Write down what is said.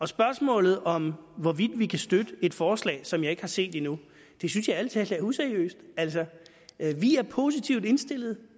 spørgsmålet om hvorvidt vi kan støtte et forslag som jeg ikke har set endnu synes jeg ærlig talt er useriøst altså vi er positivt indstillet